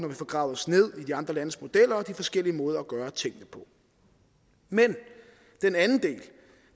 vi får gravet os ned i de andre landes modeller og de forskellige måder at gøre tingene på men den anden